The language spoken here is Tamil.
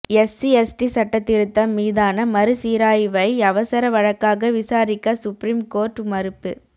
எஸ்சி எஸ்டி சட்ட திருத்தம் மீதான மறுசீராய்வை அவசர வழக்காக விசாரிக்க சுப்ரீம் கோர்ட் மறுப்பு